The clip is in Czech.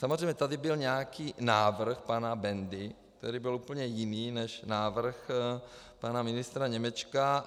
Samozřejmě, tady byl nějaký návrh pana Bendy, který byl úplně jiný než návrh pana ministra Němečka.